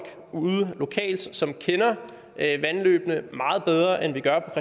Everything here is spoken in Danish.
ude lokalt som kender vandløbene meget bedre end vi gør